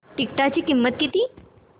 तिकीटाची किंमत किती